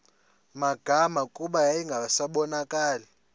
magama kuba yayingasabonakali